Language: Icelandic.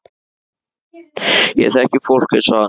Ég þekki fólk eins og hana.